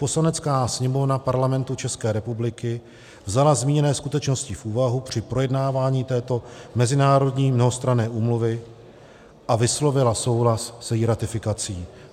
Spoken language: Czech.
Poslanecká sněmovna Parlamentu České republiky vzala zmíněné skutečnosti v úvahu při projednávání této mezinárodní mnohostranné úmluvy a vyslovila souhlas s její ratifikací.